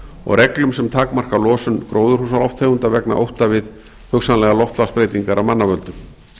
og reglum sem takmarka losun gróðurhúsalofttegunda vegna ótta við hugsanlegar loftslagsbreytingar af mannavöldum